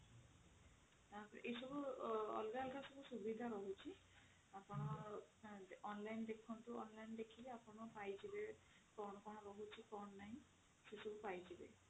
ତାପରେ ଏସବୁ ଅଲଗା ଅଲଗା ସବୁ ସୁବିଧା ରହୁଛି ଆପଣ online ଦେଖନ୍ତୁ online ଦେଖିଲେ ପାଇଯିବେ କଣ କଣ ରହୁଛି କଣ ନାହିଁ ସେ ସବୁ ପାଇଯିବେ